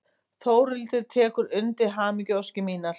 Þórhildur tekur undir hamingjuóskir mínar.